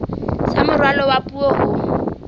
sa moralo wa puo ho